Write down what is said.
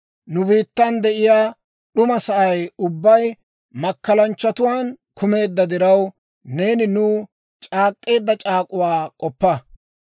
Nu biittan de'iyaa d'uma sa'ay ubbay, makkalanchchatuwaan kumeedda diraw, neeni nuw c'aak'k'eedda c'aak'uwaa k'oppa.